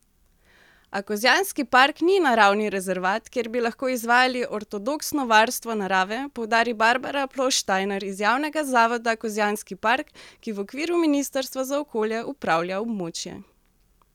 A Kozjanski park ni naravni rezervat, kjer bi lahko izvajali ortodoksno varstvo narave, poudari Barbara Ploštajner iz javnega zavoda Kozjanski park, ki v okviru ministrstva za okolje upravlja območje.